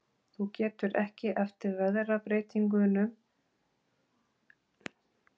Þú tekur ekki eftir veðrabreytingunum, svo hugfangin ertu af orðum mínum.